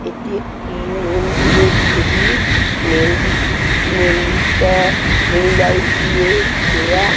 এটি একটি মন্দির এর ছবি। মন্দি মন্দিরটা টুনি লাইট দেয়া ঘেরা।